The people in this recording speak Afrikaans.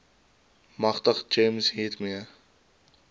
magtig gems hiermee